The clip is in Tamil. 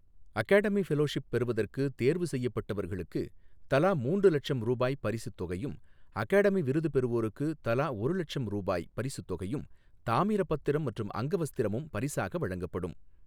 அகாடமி ஃபெலொஷிப் பெறுவதற்கு தேர்வு செய்யப்பட்டவர்களுக்கு தலா மூன்று லட்சம் ரூபாய் பரிசுத் தொகையும், அகாடமி விருது பெறுவோருக்கு தலா ஒரு லட்சம் ரூபாய் பரிசுத் தொகையும், தாமிரப் பத்திரம் மற்றும் அங்கவஸ்திரமும் பரிசாக வழங்கப்படும்.